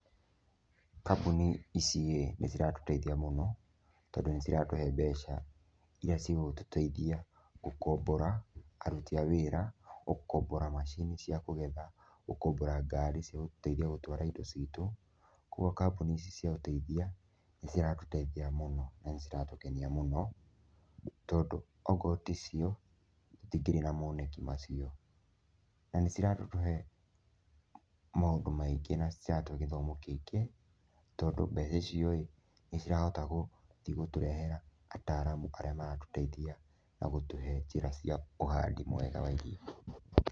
Kambuni iciĩ, nĩ ciratũteithia mũno, tondũ nĩ ciratũhe mbeca iria cigũtũteithia gũkombora aruti a wĩra, gũkombora macini cia kũgetha, gũkombora ngaari cia gũteithia gũtwara indo citũ, koguo kambuni ici cia ũteithia nĩ ciratũteithia mũno na nĩ ciratũkenia mũno, tondũ okorwo ti cio, tũtingĩrĩ na moneki macio, na nĩ ciratũhe maũndũ maingĩ na nĩ ciratũhe gĩthomo kĩingĩ tondũ mbeca icioĩ, nĩ cirahota gũthiĩ gũtũrehera ataaramu arĩa maratũteithia, na gũtũhe njĩra cia ũhandi mwega wa irio.